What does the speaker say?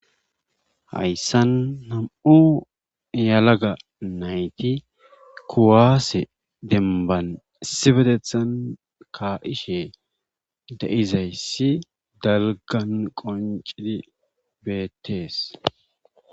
hayssan nam'u yalaga nayti kuwaase demban sibedethan ka7ishe de7izayssi dalgan qoncidi beettees.